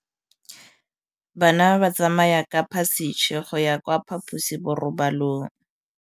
Bana ba tsamaya ka phašitshe go ya kwa phaposiborobalong.